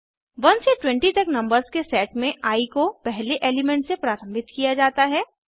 1 से 20 तक नंबर्स के सेट में आई को पहले एलिमेंट से प्रारम्भित किया जाता है